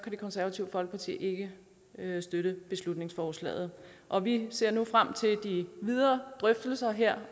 det konservative folkeparti ikke støtte beslutningsforslaget og vi ser nu frem til de videre drøftelser her